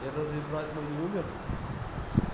и разве брат мой не умер